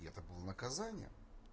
и это было наказание